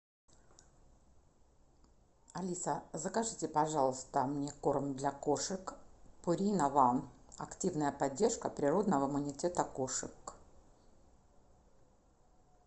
алиса закажите пожалуйста мне корм для кошек пурина ван активная поддержка природного иммунитета кошек